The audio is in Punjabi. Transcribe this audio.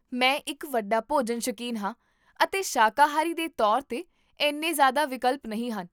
ਮੈਂ ਇੱਕ ਵੱਡਾ ਭੋਜਨ ਸ਼ੌਕੀਨ ਹਾਂ ਅਤੇ ਸ਼ਾਕਾਹਾਰੀ ਦੇ ਤੌਰ 'ਤੇ ਇੰਨੇ ਜ਼ਿਆਦਾ ਵਿਕਲਪ ਨਹੀਂ ਹਨ